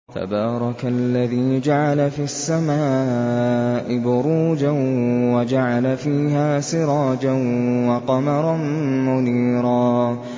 تَبَارَكَ الَّذِي جَعَلَ فِي السَّمَاءِ بُرُوجًا وَجَعَلَ فِيهَا سِرَاجًا وَقَمَرًا مُّنِيرًا